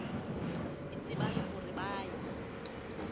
itebala ho re ba ya